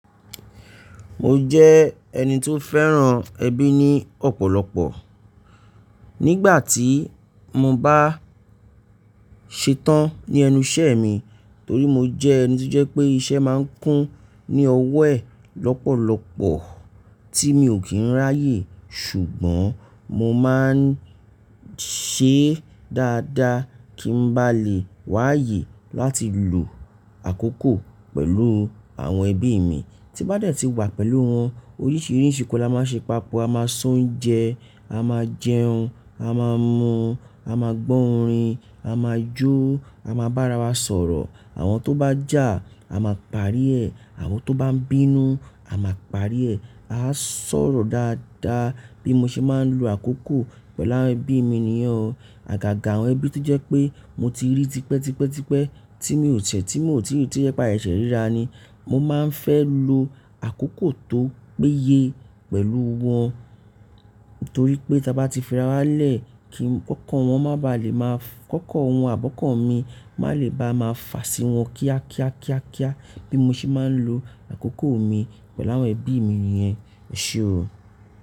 Mo jẹ́ ẹni tó fẹ́ràn ẹbí ni ọ̀pọ̀lọpọ̀. Nígbà tí mo bá ṣetán ní ẹnu iṣẹ́ mi, torí mo jẹ́ ẹni tó jẹ́ pé iṣẹ́ máa ń kún ní ọwọ́ ẹ lọ́pọ̀lọpọ̀ tí mi ò kí ń ráyè, ṣùgbọ́n mo máa ń ṣe dáadáa kí n bá lè wá ayè láti lo àkókò pẹ̀lú àwọn ẹbí mi. Tí bá dẹ̀ tí wà pẹ̀lú wọn, oríṣìíríṣìí nǹkan la máa ṣe papọ̀. A máa se ounjẹ, a máa jẹun, a máa mu, a máa gbọ́ orin, a máa jó, a máa bára wa sọ̀rọ̀. Àwọn tó bá jà, a máa parí ẹ̀. Àwọn tó bá ń bínú, a máa parí ẹ̀. A á sọ̀rọ̀ dáadáa bí mo ṣe máa ń lo àkókò pẹ̀lú àwọn ẹbí mi niyen ọ̀. Àgàgà àwọn ẹbí tó jẹ́ pé mo ti rí tipẹ́ tipẹ́ tipẹ́ tí mi ò tẹ̀, tí mo ò tí ì rí tí ó jẹ pa sèsẹ̀ rírà ni. Mo máa ń fẹ́ lo àkókò tó péye pẹ̀lú wọn, torí pé tí a bá ti fi ara wa lẹ̀, kí ọkọn wọn má ba à lè máa-- ọkọn wọn àbi ọ́kọ̀n mi má lè ba má fa sí wọn kíá kíá kíá kíá bí mo ṣe máa ń lo àkókò mi pẹ̀lú àwọn ẹbí mi yẹn, èṣe ó.